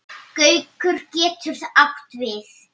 Gaukur getur átt við